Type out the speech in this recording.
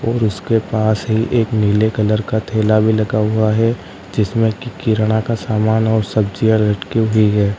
और उसके पास ही एक नीले कलर का थेला भी लगा हुआ है जिसमें कि किरणा का सामान और सब्जियां लटकी हुई हैं।